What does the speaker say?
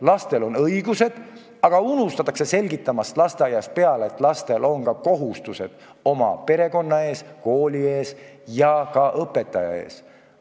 Lastel on õigused, aga lasteaiast peale unustatakse selgitamast, et neil on ka kohustused oma perekonna ja kooli ees, samuti õpetaja ees.